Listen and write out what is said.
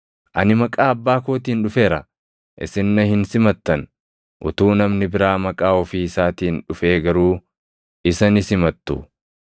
Ani maqaa Abbaa kootiin dhufeera; isin na hin simattan; utuu namni biraa maqaa ofii isaatiin dhufee garuu isa ni simattu.